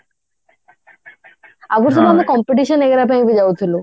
ଆଗରୁ ସବୁ ଆମେ competition वगेरा ପାଇଁ ବି ଯାଉଥିଲୁ